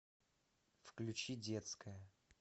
включи детская